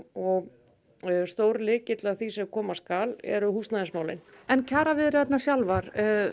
og stór lykill að því sem koma skal eru húsnæðismálin en kjaraviðræðurnar sjálfar